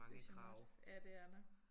Ikke sådan noget. Ja det er der